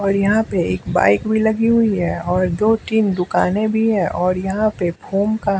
और यहाँपे एक बाइक भी लगी हुई है और दो-तीन दुकानें भी है और यहाँ पे फोम का--